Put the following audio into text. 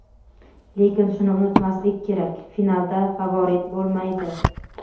Lekin shuni unutmaslik kerak: "Finalda favorit bo‘lmaydi!".